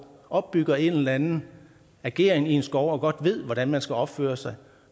opbygger en eller anden ageren i en skov og godt ved hvordan man skal opføre sig